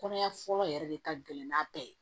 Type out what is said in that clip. Kɔnɔya fɔlɔ yɛrɛ de ka gɛlɛn n'a bɛɛ ye